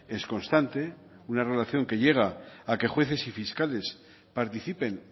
es constante una relación que llega a que jueces y fiscales participen